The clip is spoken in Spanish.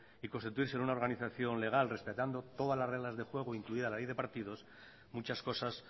y constituirse en una organización legal respetando todas las reglas de juego incluida la ley de partidos muchas cosas